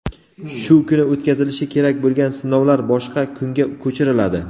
shu kuni o‘tkazilishi kerak bo‘lgan sinovlar boshqa kunga ko‘chiriladi.